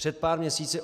Před pár měsíci.